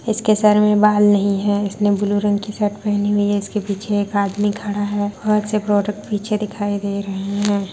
इसके सर में बाल नही है इसने ब्लू रंग की शर्ट पहनी है इसके पीछे एक आदमी खड़ा है बहुत से प्रोडक्ट पीछे दिखाई दे रहा है।